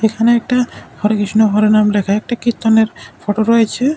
এখানে একটা হরে কৃষ্ণ হরে রাম লেখা একটি কীর্তনের ফটো রয়েছে।